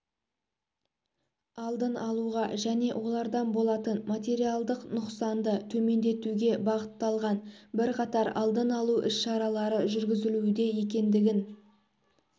алдын алуға және олардан болатын материалдық нұқсанды төмендетуге бағытталған бірқатар алдын алу іс-шаралары жүргізілуде екендігін